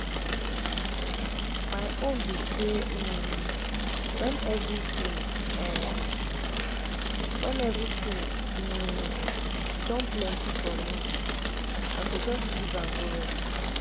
my own be say um wen everything um wen everything um don plenty for me i go just leave am go rest